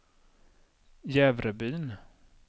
Jävrebyn